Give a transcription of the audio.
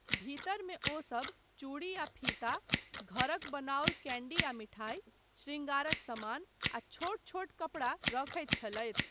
भीतरमे ओसब चूड़ी आ फीता, घरक बनाओल कैन्डी आ मिठाई, शृङ्गारक समान, आ छोट छोट कपड़ा रखैत छलथि।